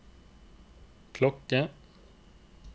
klokke